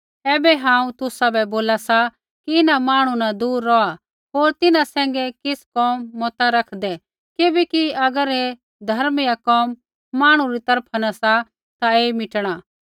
ऐबै हांऊँ तुसाबै बोला सा कि इन्हां मांहणु न दूर रौहात् होर तिन्हां सैंघै किछ़ कोम मता रैखदै किबैकि अगर ऐ धर्म या कोम मांहणु री तरफा न सा ता ऐई मिटणा